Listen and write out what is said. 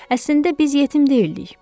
Əslində biz yetim deyildik.